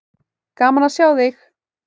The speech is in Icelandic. Gaman að sjá þig.